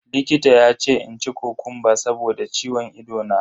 Likita ya ce in ci kokumba saboda ciwon ido na.